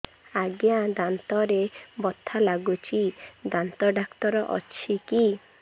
ଆଜ୍ଞା ଦାନ୍ତରେ ବଥା ଲାଗୁଚି ଦାନ୍ତ ଡାକ୍ତର ଅଛି କି